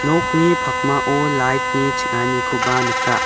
nokni pakmao light-ni ching·anikoba nika.